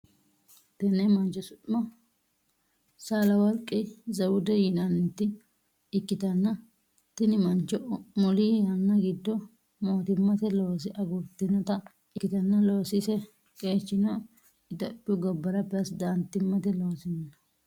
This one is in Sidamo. Tenne mancho su'ma saalaworqi zewude yinnannita ikitanna tinni mancho muli yanna gido mootimmate looso agurtinota ikitanna loosise qeechino itophiyu gobara perezidaantimate loosino.